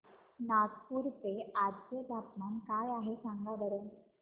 नागपूर चे आज चे तापमान काय आहे सांगा बरं